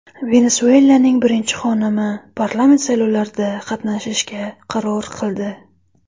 Venesuelaning birinchi xonimi parlament saylovlarida qatnashishga qaror qildi.